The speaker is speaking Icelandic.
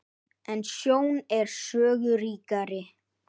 En sjón er sögu ríkari.